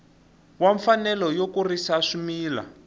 wa mfanelo yo kurisa swimila